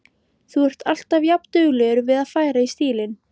Þú ert alltaf jafnduglegur við að færa í stílinn.